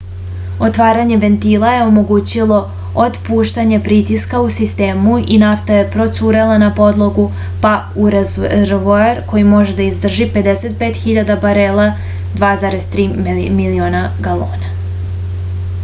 отварање вентила је омогућило отпуштање притиска у систему и нафта је процурела на подлогу па у резервоар који може да издржи 55.000 барела 2,3 милиона галона